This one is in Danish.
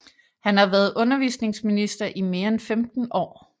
Han har været undervisningsminister i mere end 15 år